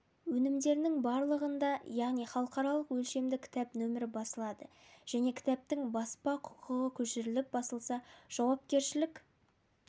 өнімдерінің барлығында яғни халықаралық өлшемді кітап нөмірі басылады және кітаптың баспа құқығы көшіріліп басылса жауапкершілік